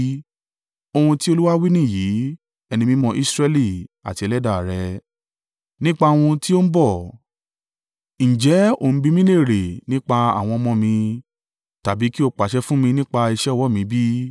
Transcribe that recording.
“Ohun tí Olúwa wí nìyìí, Ẹni Mímọ́ Israẹli, àti Ẹlẹ́dàá rẹ̀. Nípa ohun tí ó ń bọ̀, ǹjẹ́ o ń bi mí léèrè nípa àwọn ọmọ mi, tàbí kí o pàṣẹ fún mi nípa iṣẹ́ ọwọ́ mi bí?